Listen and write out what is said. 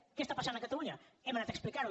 què passa a catalunya hem anat a explicar ho